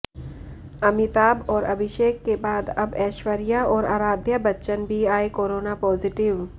अमिताभ और अभिषेक के बाद अब ऐश्वर्या और आराध्या बच्चन भी आए कोरोना पॉजिटिव